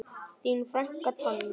Þín frænka Tanja.